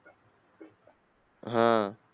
हा